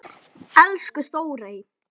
Elsku Þórey.